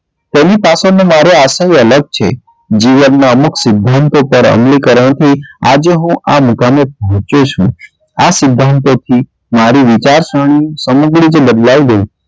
તેની પાછળનો મારો આશ્રય અલગ છે જીવનમાં અમુક સિધ્ધાંતો તરફ અમલીકરણથી આજે હું આ મુકામે પહોચ્યો છું આ સિધ્ધાંતોથી મારી વિચારસરણી સમગ્ર રીતે બદલાઈ ગઈ.